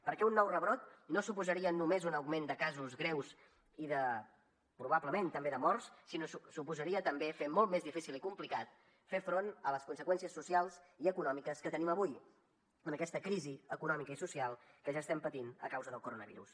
perquè un nou rebrot no suposaria només un augment de casos greus i probablement també de morts sinó que suposaria també fer molt més difícil i complicat fer front a les conseqüències socials i econò miques que tenim avui amb aquesta crisi econòmica i social que ja estem patint a causa del coronavirus